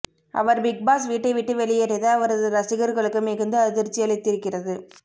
அவர் Big Boss வீட்டை விட்டு வெளியேறியது அவரது ரசிகர்களுக்கு மிகுந்த அதிர்ச்சியளித்திருக்கிறது